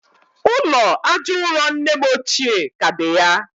ụlọ aja ụrọ nne m ochie ka dị ya.